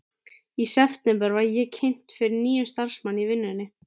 Í september var ég kynnt fyrir nýjum starfsmanni í vinnunni.